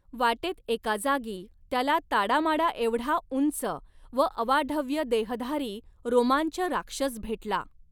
वाटेत एका जागी त्याला ताडामाडाएवढा उंच व अवाढव्य देहधारी रोमांच राक्षस भेटला.